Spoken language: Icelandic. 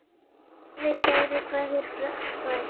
Afi kærar kveðjur fær.